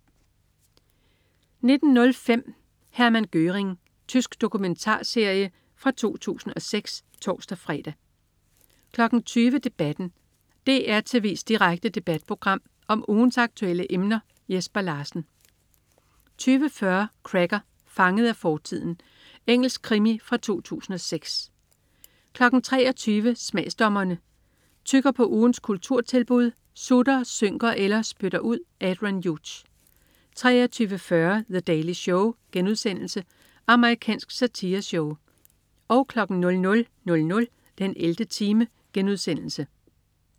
19.05 Hermann Göring. Tysk dokumentarserie fra 2006 (tors-fre) 20.00 Debatten. DR tv's direkte debatprogram om ugens aktuelle emner. Jesper Larsen 20.40 Cracker: Fanget af fortiden. Engelsk krimi fra 2006 23.00 Smagsdommerne. Tygger på ugens kulturtilbud, sutter, synker eller spytter ud. Adrian Hughes 23.40 The Daily Show* Amerikansk satireshow 00.00 den 11. time*